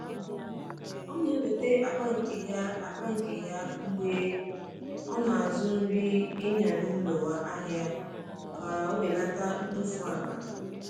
O na-eweta akpa nke ya akpa nke ya mgbe ọ na-azụ nri ịnya n’ụlọ ahịa ka o belata mkpofu akpa.